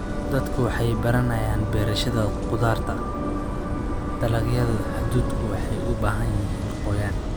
Dadku waxay baranayaan beerashada khudaarta. Dalagyada hadhuudhku waxay u baahan yihiin qoyaan.